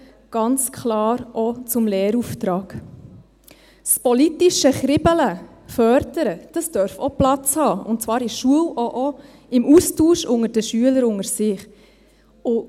Es darf auch Platz haben, das politische Kribbeln zu fördern, und zwar in der Schule und auch im Austausch der Schüler unter einander.